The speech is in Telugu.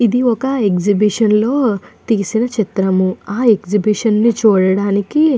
ఇది ఒక ఎక్సిబిషన్ లో తీసిన చిత్రము ఆ ఎక్సిబిషన్ ని చూడటానికి.